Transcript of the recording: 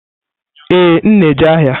Ee, m na-eje n'ahịa.